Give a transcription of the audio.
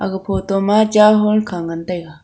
ag photo ma cha hall kha ngan taiga.